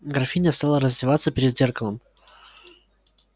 графиня стала раздеваться перед зеркалом